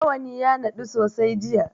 Rawani ya naɗu sosai jiya.